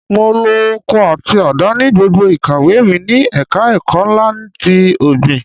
Mo lo ọkọ́ àti àdá ní gbogbo ìkàwé mi ní ẹ̀ka ẹ̀kọ́ ńlá ti ọ̀gbìn.